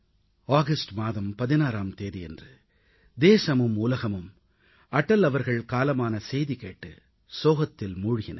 August மாதம் 16ஆம் தேதியன்று தேசமும் உலகமும் அடல் அவர்கள் காலமான செய்தி கேட்டு சோகத்தில் மூழ்கின